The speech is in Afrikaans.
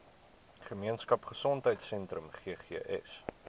gemeenskap gesondheidsentrum ggs